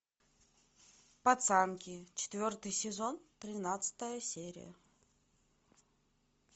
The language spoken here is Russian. пацанки четвертый сезон тринадцатая серия